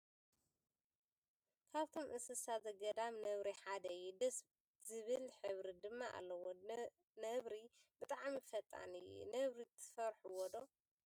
ካበቶም እንሰሳት ዘጋዳም ነብሪ ሓደ እዩ ። ደስ ዝብል ሕብሪ ድማ ኣለዎ ። ነብሪ ብጣዕሚ ፈጣን እዮ ። ነብሪ ትፈርሕዎ ዶ ?